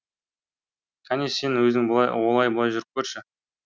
кәне сен өзің олай бұлай жүріп көрші